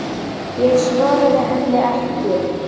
Ég svaraði henni ekki.